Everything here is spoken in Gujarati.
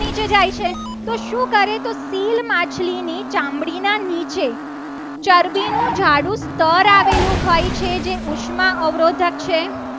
સીલ માછલીની ચામડી ના નીચે ચરબીનું જાડુ સ્થળ આવેલું હોય છે. જે ઉષ્મા અવરોધક છે.